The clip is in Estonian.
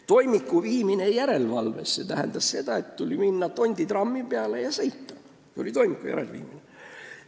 Toimiku järelevalvesse viimine tähendas seda, et tuli minna Tondi trammi peale ja sõita, st tuli toimiku järele minna.